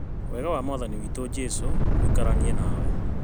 Wega wa Mwathani witũ Jesũ ũikaranie nawe